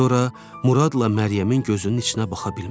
Sonra Muradla Məryəmin gözünün içinə baxa bilmədi.